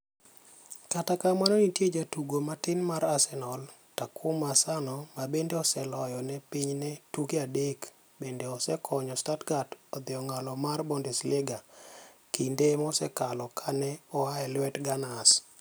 Kata kamano nitie jatugo matin mar Arsenal Takuma Asano ma bende oseloyo ne pinyne tuke adek to bende osekonyo Stuttgart idho ong'ala mar Bundesliga kinde mosekalo kane oa elwet Gunners.